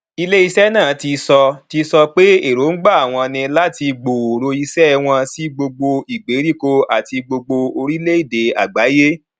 ilé iṣẹ náà ti sọ ti sọ pé èròǹgbà àwọn ní láti gbòòrò iṣẹ wọn sí gbogbo ìgbèríko àti gbogbo orílẹèdè àgbáyé